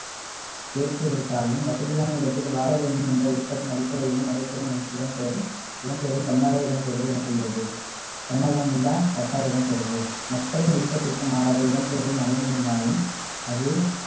பெருக்குவதற்காகவும், வசதியான இடத்தில் வாழவேண்டும் என்ற விருப்பத்தின் அடிப்படையிலும் நடைபெறும் எம்~ இடம்பெயர்~ இடம்பெயர்வு தன்னார்வ இடம்பெயர்வு என்ப்படுகிறது தன்னார்வமில்லா கட்டாய இடம்பெயர்வு மக்களின் விருப்பத்திற்கு மாறாக இடம்பெயர்வு நடைபெறுமாயின் அது